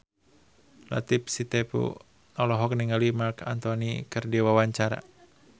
Latief Sitepu olohok ningali Marc Anthony keur diwawancara